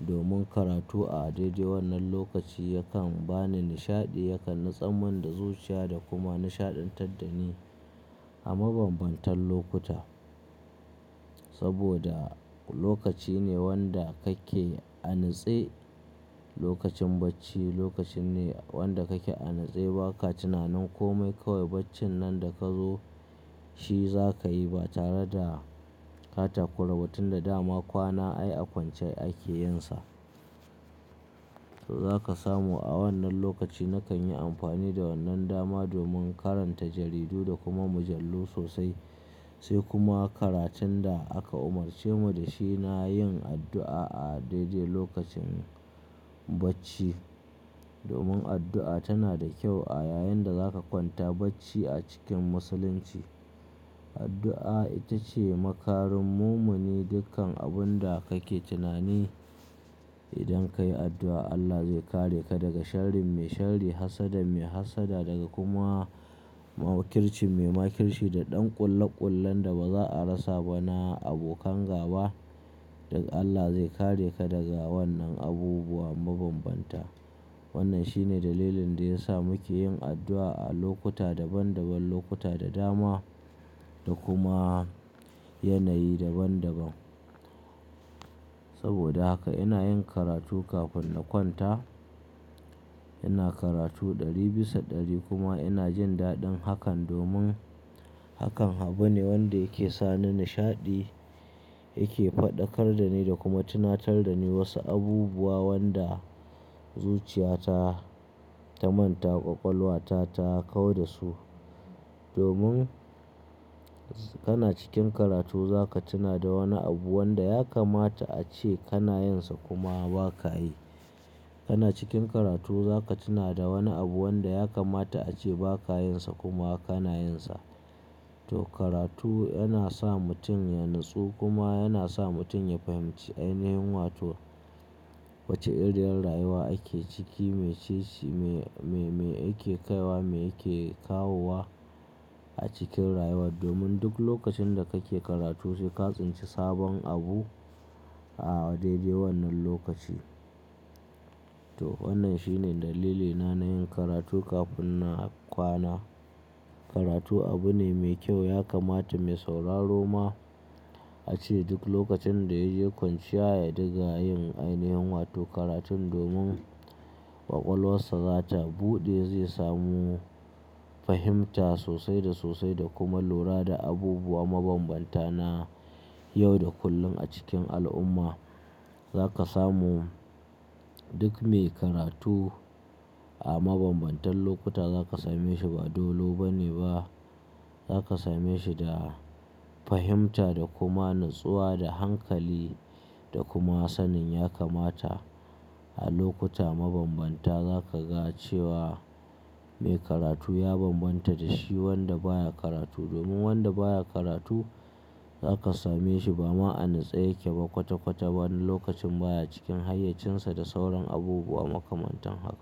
Domin karatu a daidai wannan lokaci yakan bani nishaɗi, yakan natsaman da zuciya da kuma nishaɗantar da ni a mabambantan lokuta. Saboda lokaci ne wanda kake an atse lokacin bacci. Lokaci ne wanda kake an atse ba ka tunanin komai kawai bacci nan da ka zo shi za ka yi ba tare da ka takurawa tun da dama kwana ai a kwance ake yinsa. To za ka samu a wannan lokaci nakan yi amfani da wannan dama domin karanta jaridu da kuma mujallu sosai. Sai kuma karatun da aka umarce mu da shi. Na yin addu'a a daidai lokacin bacci. Domin addu'a tana da kyau a yayin da za ka kwanta bacci a cikin musulunci. Addu'a ita ce makarin mumini. Dukkan abun da kake tunani. Idan ka yi addu'a Allah zai kare ka daga sharrin mai sharri, hassada mai hassada daga kuma makirci mai makirci da ɗan ƙullaƙullen da ba za a rasa ba na abokan gaba. Duk Allah zai kare ka daga wannan abubuwa mabambanta. Wannan shi ne dalilin da ya sa muke yin addu'a a lokuta daban daban, lokuta da dama da kuma yanayi daban daban. Saboda haka ina yin karatu kafin na kwanta. Ina karatu ɗari bisa ɗari kuma ina jin daɗin hakan domin hakan abu ne wanda yake sa ni nishaɗi, yake faɗakar da ni da kuma tunatar da ni wasu abubuwa wanda zuciyata ta manta, ƙwaƙwalwa ta ta kau da su. Domin kana cikin karatu za ka tuna da wani abu wanda ya kamata a ce kana yin sa kuma ba ka yi. Kana cikin karatu za ka tuna da wani abu wanda ya kamata a ce ba ka yin sa kuma kana yin sa. To karatu yana sa mutum ya nutsu kuma yana sa mutum ya fahimci ainihin wato wace iriyar rayuwa ake ciki, mece shi, me yake kaiwa, me yake kawo a cikin rayuwa. Domin duk lokacin da kake karatu sai ka tsinci sabon abu a daidai wannan lokaci. To wannan shi ne dalilina na yin karatu kafin na kwana. Karatu abu ne mai kyau. Ya kamata mai sauraro ma a ce duk lokacin da ya je kwanciya ya diga yin ainihin wato karatun domin ƙwaƙwalwarsa za ta buɗe zai samu fahimta sosai da sosai da kuma lura da abubuwa mabambanta na yau da kullum a cikin al'umma. Za ka samu duk me karatu a mabambantan lokuta za ka same shi ba dolobe ne ba. Za ka same shi da fahimta da kuma natsuwa da hankali da kuma sanin ya kamata. A lokuta mabambanta za ka ga cewa me karatu ya bambanta da shi wanda baya karatu. Domin wanda baya karatu za ka same shi ba ma an atse yake ba kwata kwata. Wani lokacin baya cikin hayyacinsa da sauran abubuwa makamantan haka.